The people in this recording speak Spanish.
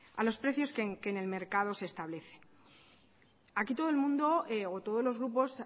a los precios que en el mercado se establecen aquí todo el mundo o todos los grupos